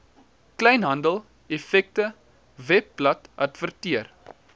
kleinhandel effekte webbladadverteer